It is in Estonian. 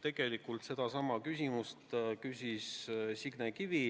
Tegelikult sedasama küsis Signe Kivi,